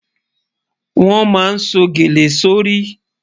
Wọn má sọ̀ gẹ̀lẹ̀ sọ́ rí.